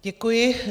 Děkuji.